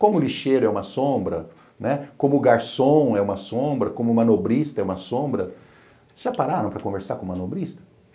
Como o lixeiro é uma sombra, né, como o garçom é uma sombra, como o manobrista é uma sombra, já pararam para conversar com o manobrista?